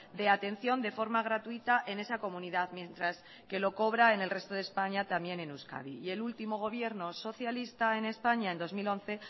de atención de forma gratuita en esa comunidad mientras que lo cobra en el resto de españa también en euskadi y el último gobierno socialista en españa en dos mil once